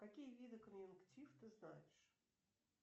какие виды конъюнктив ты знаешь